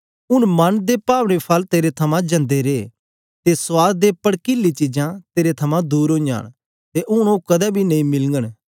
हूंन मन दे पाभने फल तेरे थमां जांनदे रे ते सुआद ते पड़किली चीजां तेरे थमां दूर ओईयां न ते हूंन ओ कदें बी नेई मिलघंन